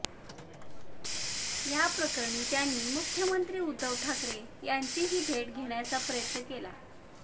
याप्रकरणी त्यांनी मुख्यमंत्री उद्धव ठाकरे यांचीही भेट घेण्याचा प्रयत्न केला